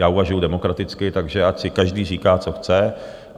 Já uvažuji demokraticky, takže ať si každý říká, co chce.